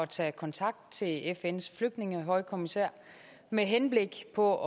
tage kontakt til fns flygtningehøjkommissær med henblik på